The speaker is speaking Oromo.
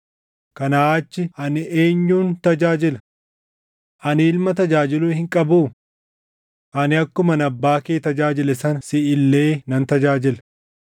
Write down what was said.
Kanaa achi ani eenyun tajaajila? Ani Ilma tajaajiluu hin qabuu? Ani akkuman abbaa kee tajaajile sana siʼi illee nan tajaajila.”